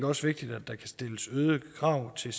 også vigtigt at der kan stilles øgede krav til